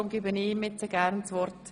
Darum gebe ich ihm gerne das Wort.